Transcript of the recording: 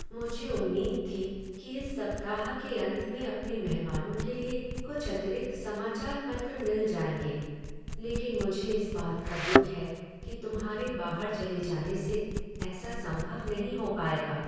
मुझे उम्मीद थी कि इस सप्ताह के अंत में अपने मेहमानों के लिए कुछ अतिरिक्त समाचार पत्र मिल जाएंगे, लेकिन मुझे इस बात का दुख है कि तुम्हारे बाहर चले जाने से ऐसा संभव नहीं हो पाएगा।